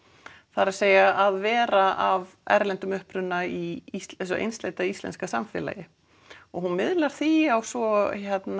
það er að að vera af erlendum uppruna í þessu einsleita íslenska samfélagi og hún miðlar því á svo